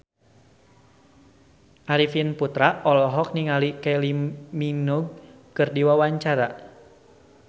Arifin Putra olohok ningali Kylie Minogue keur diwawancara